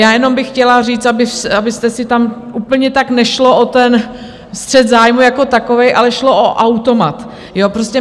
Já jenom bych chtěla říct, abyste si tam... úplně tak nešlo o ten střet zájmů jako takový, ale šlo o automat.